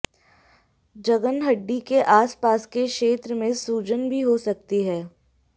जघन हड्डी के आस पास के क्षेत्र में सूजन भी हो सकती है